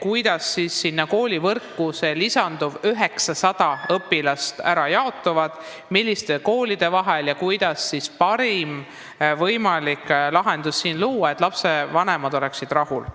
kuidas sealses koolivõrgus need lisanduvad 900 õpilast ära jaotuvad, milliste koolide vahel, ja kuidas oleks võimalik luua parim lahendus nii, et lapsevanemad oleksid rahul.